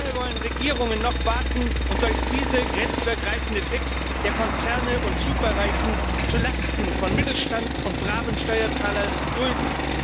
Wie lange wollen Regierungen noch warten und solch fiese grenzübergreifende Tricks der Konzerne und Superreichen zu Lasten von Mittelstand und bravem Steuerzahler dulden?